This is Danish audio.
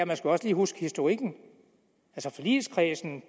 man også lige huske historikken forligskredsen